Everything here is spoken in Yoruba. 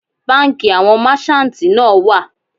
Bánkì àwọn merchantí náà wà.